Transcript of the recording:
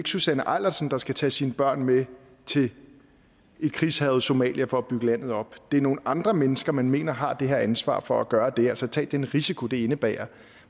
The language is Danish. susanne eilersen der skal tage sine børn med til et krigshærget somalia for at bygge landet op det er nogle andre mennesker man mener har det her ansvar for at gøre det altså tage den risiko det indebærer